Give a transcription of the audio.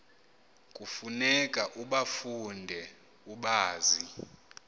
kufuneka ubafunde ubazi